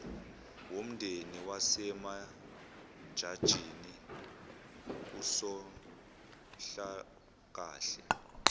womndeni wasemajajini usonhlalakahle